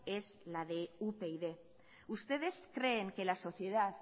es la de upyd ustedes creen que la sociedad